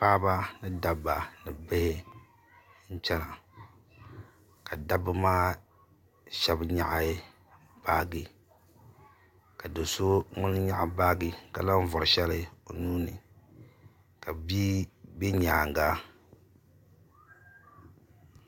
Paɣaba ni dabba ni bihi n chɛna ka dabba maa shɛba nyɛɣi baaji ka do so ŋuni yɛɣi baaji ka lahi vori shɛli o nuu ni ka bia bɛ yɛanga.